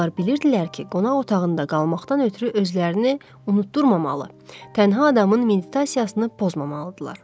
Onlar bilirdilər ki, qonaq otağında qalmaqdan ötrü özlərini unutdurmamalı, tənha adamın meditasiyasını pozmamalıdırlar.